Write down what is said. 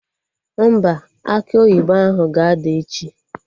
Mba, akị oyibo ahụ ga-ada echi